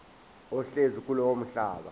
ohlezi kulowo mhlaba